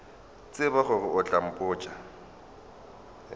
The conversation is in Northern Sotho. tsebe gore o tla botša